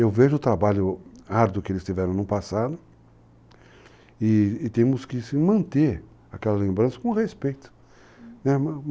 Eu vejo o trabalho árduo que eles tiveram no passado e temos que manter aquela lembrança com respeito. Uhum.